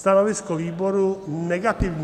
Stanovisko výboru - negativní.